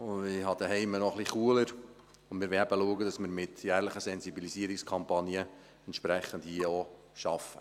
Bei mir zu Hause ist es noch etwas kühler, und wir wollen eben schauen, dass wir mit jährlichen Sensibilisierungskampagnen hier auch entsprechend arbeiten.